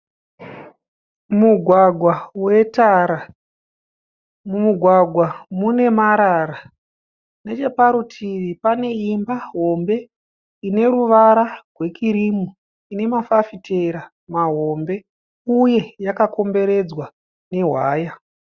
Mugwagwa we tara, mumugwagwa mune marara, necheparutivi pane Imba hombe ine ruvara rwe kirimu ne namafafitera mahombe uye yakakomberedzwa ne waya.